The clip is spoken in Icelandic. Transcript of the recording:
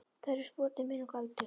Þau eru sproti minn og galdur.